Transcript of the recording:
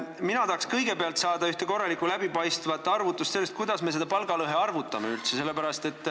Mina tahaks kõigepealt näha ühte korralikku läbipaistvat arvutust, kuidas me seda palgalõhet üldse arvutame.